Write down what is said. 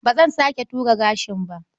Ba zan sake ture gashina ba.